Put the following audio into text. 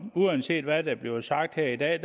uanset hvad der bliver sagt her i dag